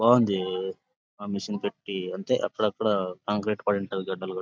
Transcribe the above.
బాగుంది. ఆ మెషిన్ పెట్టి అంటే అక్కడ అక్కడ కాంక్రీట్ పడి ఉంటది.